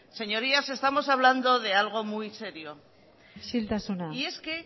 señorías estamos hablando de algo muy serio isiltasuna y es que